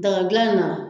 Dagadilan in na